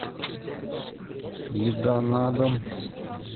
еда на дом